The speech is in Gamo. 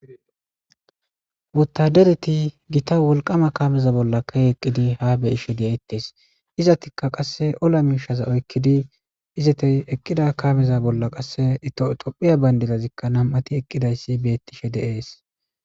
wotadereti gita wolqama kameza bolla ka eqqidi ha be ishe deeettees izatikka qasse ola miishaza oykkidi izatey eqqida kameza bolla qasse tophiya bayndilazikka nam7ati eqqidayssi beettishe deees